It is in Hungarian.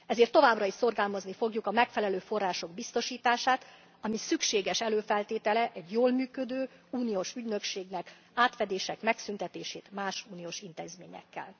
Ezért továbbra is szorgalmazni a fogjuk a megfelelő források biztosítását, ami szükséges előfeltétele egy jól működő uniós ügynökségnek, és az átfedések megszűntetését más uniós intézményekkel.